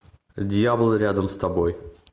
дьявол рядом с тобой